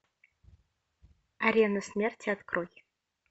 арена смерти открой